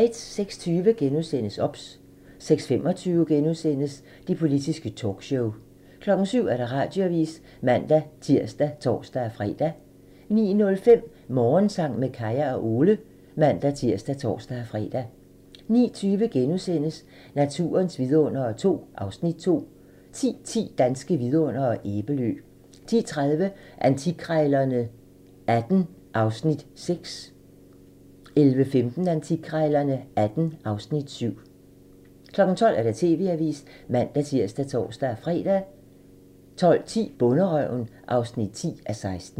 06:20: OBS * 06:25: Det politiske talkshow *(man) 07:00: TV-avisen (man-tir og tor-fre) 09:05: Morgensang med Kaya og Ole (man-tir og tor-fre) 09:20: Naturens vidundere II (Afs. 2)* 10:10: Danske vidundere: Æbelø 10:30: Antikkrejlerne XVIII (Afs. 6) 11:15: Antikkrejlerne XVIII (Afs. 7) 12:00: TV-avisen (man-tir og tor-fre) 12:10: Bonderøven (10:16)